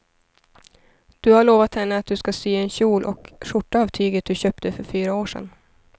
Du har lovat henne att du ska sy en kjol och skjorta av tyget du köpte för fyra år sedan.